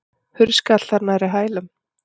Hurð skall þar nærri hælum.